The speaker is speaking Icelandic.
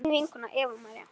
þín vinkona Eva María.